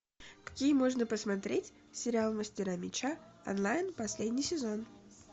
какие можно посмотреть сериал мастера меча онлайн последний сезон